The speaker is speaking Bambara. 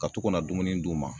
Ka to ka na dumuni d'u ma